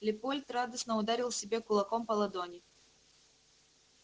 лепольд радостно ударил себе кулаком по ладони